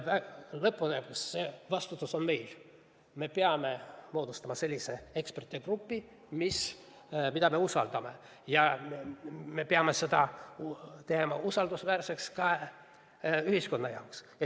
Lõppude lõpuks on see vastutus meil, me peame moodustama sellise ekspertide grupi, keda me usaldame, ja me peame selle tegema usaldusväärseks ka ühiskonnale.